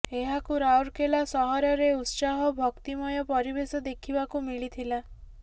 ଏହାକୁ ରାଉରକେଲା ସହରରେ ଉତ୍ସାହ ଓ ଭକ୍ତିମୟ ପରିବେଶ ଦେଖିବାକୁ ମିଳିଥିଲା